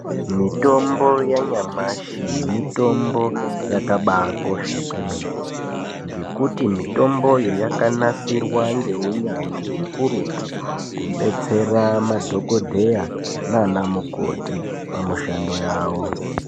Mitombo yanyamashi mitombo yakabaakosha kwemene ngekuti mitomboyo yakanasirwa ngeunyanzvi hukurutu kubetsera madhokodheya naana mukoti pamishando yawo .